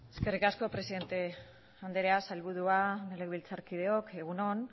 eskerrik asko presidente anderea sailburua legebiltzarkideok egun on